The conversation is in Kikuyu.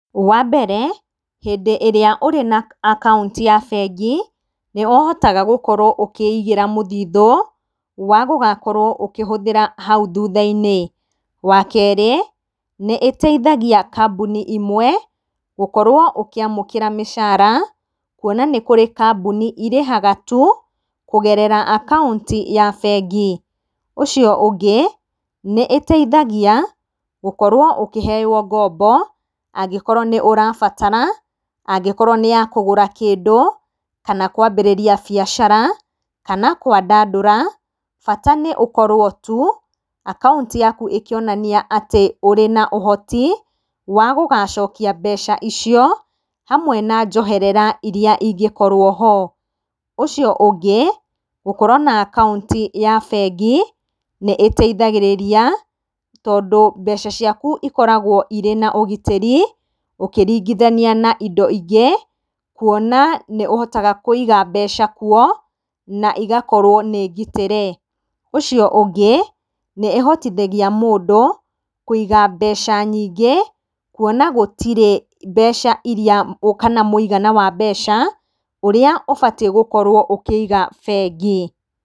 Wambere, hĩndĩ ĩrĩa ũrĩ na akaũnti ya bengi, niũhota gũkorwo ũkĩigĩra mũthithũ, wa gũgakorwo ũkĩhũthĩra hau thutha-inĩ. Wakerĩ, nĩ ĩteithagia kambuni imwe, gũkorwo ũkĩamũkĩra mĩcara, kwona nĩ kũrĩ kambuni irĩhaga tu, kũgerera akaũnti ya bengi. Ũcio ũngĩ, nĩ ĩteithagia, gũkorwo ũkĩheywo ngombo, angĩkorwo nĩ ũrabatara, angĩkorwo nĩ yakũgũra kĩndũ, kana kũhingũra biacara, kana kwandandura, bata nĩ ũkorwo tu, akaũnti yaku ĩkĩonania atĩ ũrĩ na ũhoti, wa gũgacokia mbeca icio, hamwe na njoherera iria ingĩkorwo-ho. Ũcio ũngĩ, gũkorwo na akaũntĩ ya bengĩ, nĩ ĩteithagĩrĩria, tondũ mbeca ciaku ikoragwo na ũgitĩri, ũkĩringithania na indo ingĩ, kwona nĩ ũhotaga kũiga mbeca kuo, na igakorwo nĩ ngitĩre. Ũcio ũngĩ, nĩ ĩhotithagia mũndũ, kũiga mbeca nyingĩ, kwona gũtirĩ mbeca iria, kana mũigana wa mbeca ũrĩa ũbatiĩ gũkorwo ũkĩiga bengi.